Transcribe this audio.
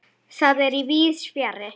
Það er víðs fjarri.